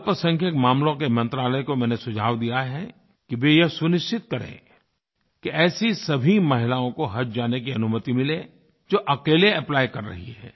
अल्पसंख्यक मामलों के मंत्रालय को मैंने सुझाव दिया है कि वो यह सुनिश्चित करें कि ऐसी सभी महिलाओं को हज जाने की अनुमति मिले जो अकेले एप्ली कर रही हैं